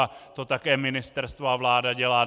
A to také ministerstvo a vláda dělá.